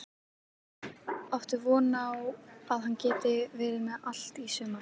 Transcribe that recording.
Áttu von á að hann geti verið með í allt sumar?